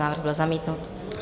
Návrh byl zamítnut.